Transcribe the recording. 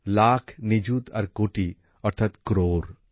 লাখ নিযুত আর কোটি অর্থাৎ ক্রোড়